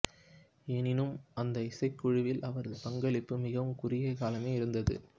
எனினும் அந்த இசைக்குழுவில் அவரது பங்களிப்பு மிகவும் குறுகிய காலமே இருந்தது